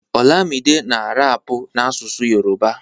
olamide na rapu n'asụsụ Yoruba